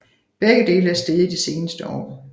Begge dele er steget i de seneste år